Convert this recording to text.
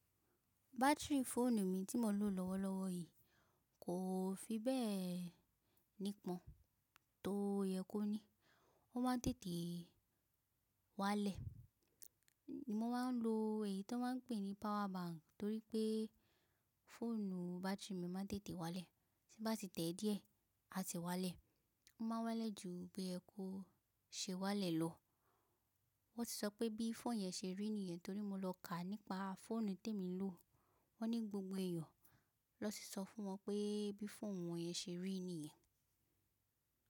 Batiri fóònù mi tí mo ń lò lọ́wọ́lọ́wọ́ yìí kò fi bẹ́ẹ̀ nípọ́n, tó yẹ kó ní. Ó máa ń tètè wá lẹ̀. Mo ma ń lo èyí tan máa ń pè ní power bank torí pé fóònù batiri mi máa ń tètè wá lẹ̀. Tí n bá ti tẹ̀ díẹ̀ a ti wá lẹ̀. Ó ma wá lẹ̀ ju bí ẹ kó ṣe wá lẹ̀ lọ. Wọ́n ti sọ pé bí fóònù yẹn ṣe rí nìyẹn torí mo lọ ká nípa fóònù tí èmi ń lò. Wọ́n ní gbogbo èyàn ni wọ́n ti sọ fún wọn pé bí fóònù wọn yẹn ṣe rí nìyẹn.